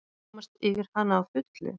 Komast yfir hana að fullu?